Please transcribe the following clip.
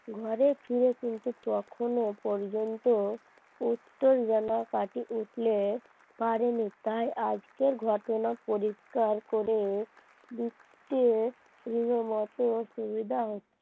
ঘরে ফিরে কিন্তু তখনো পর্যন্ত উত্তর যেন কাটিয়ে উঠতে পারেনি তাই আজকের ঘটনা পরিষ্কার করে লিখতে রীতিমতো অসুবিধা হচ্ছে